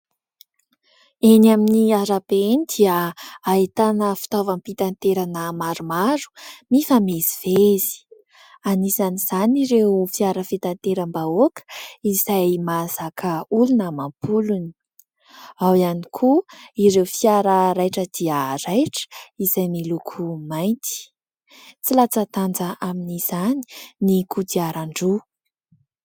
Eny amin'ny arabe eny dia ahitana fitaovam-pitaterana maromaro mifamezivezy, anisan'izany ireo fiara fitateram-bahoaka izay mahazaka olona amam-polony ; ao ihany koa ireo fiara raitra dia raitra izay miloko mainty. Tsy latsa-danja amin'izany ny kodiaran-droa.